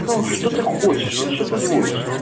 ну что ты хочешь ну что ты звонишь ну